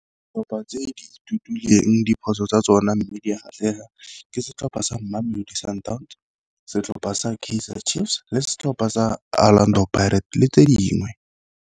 Ditlhopha tse di ithutileng diphoso tsa tsona mme di atlega ke setlhopha sa Mamelodi Sundowns, setlhopha sa Kaizer Chiefs, le setlhopha sa Orlando Pirates le tse dingwe.